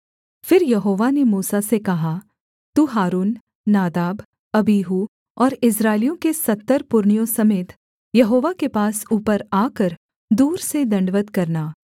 फिर यहोवा ने मूसा से कहा तू हारून नादाब अबीहू और इस्राएलियों के सत्तर पुरनियों समेत यहोवा के पास ऊपर आकर दूर से दण्डवत् करना